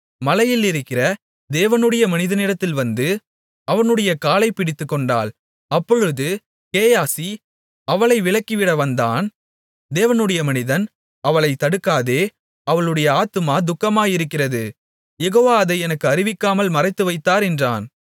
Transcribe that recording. மலையில் இருக்கிற தேவனுடைய மனிதனிடத்தில் வந்து அவனுடைய காலைப் பிடித்துக்கொண்டாள் அப்பொழுது கேயாசி அவளை விலக்கிவிட வந்தான் தேவனுடைய மனிதன் அவளைத் தடுக்காதே அவளுடைய ஆத்துமா துக்கமாயிருக்கிறது யெகோவா அதை எனக்கு அறிவிக்காமல் மறைத்துவைத்தார் என்றான்